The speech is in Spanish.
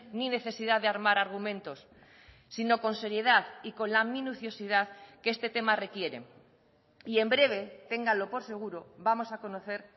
ni necesidad de armar argumentos sino con seriedad y con la minuciosidad que este tema requiere y en breve ténganlo por seguro vamos a conocer